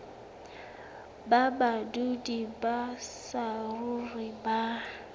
ba badudi ba saruri ba